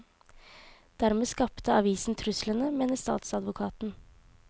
Dermed skapte avisen truslene, mener statsadvokaten.